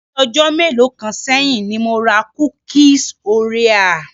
Ni bii ọjọ́ mélòó kan sẹ́yìn ni mo ra kúkíes orea.